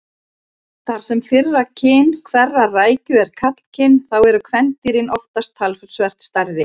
Þar sem fyrra kyn hverrar rækju er karlkyn þá eru kvendýrin oftast talsvert stærri.